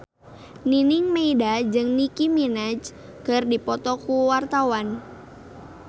Nining Meida jeung Nicky Minaj keur dipoto ku wartawan